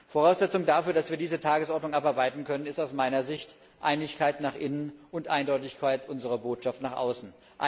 Voraussetzung dafür, dass wir diese Tagesordnung abarbeiten können, ist aus meiner Sicht Einigkeit nach innen und Eindeutigkeit unserer Botschaft nach außen.